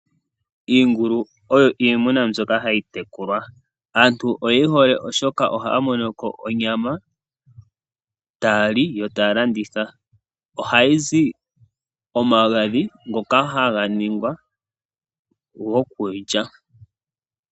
Iingulu oyo iitekulwa namwenyo yomomagumbo, aantu oye yihole oshoka ohaamono onyama yokulya no yokulanditha. Kiingulu ohakuzi omagadhi ngoka haga kangwa gokulya.